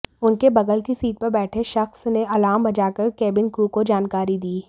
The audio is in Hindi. उनके बगल की सीट पर बैठे शख्स ने अलार्म बजाकर केबिन क्रू को जानकारी दी